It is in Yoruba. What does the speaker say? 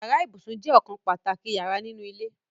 Yàrá ibùsùn je okan pàtàkì yara ninu ile